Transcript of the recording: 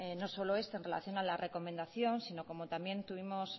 no solo esto en relación a la recomendación sino como también tuvimos